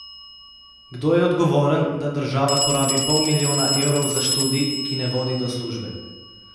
Kdo je odgovoren, da država porabi pol milijona evrov za študij, ki ne vodi do službe?